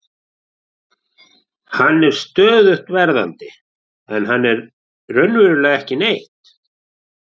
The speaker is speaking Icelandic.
Hann er stöðugt verðandi en hann er raunverulega ekki neitt.